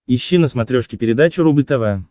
ищи на смотрешке передачу рубль тв